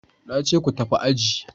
Na ce ku tafi aji!